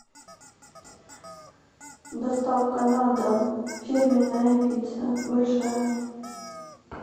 доставка на дом фирменная пицца большая